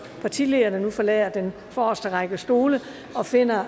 partilederne nu forlader den forreste række stole og finder